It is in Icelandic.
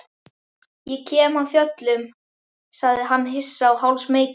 Ég kem af fjöllum, sagði hann hissa og hálfsmeykur.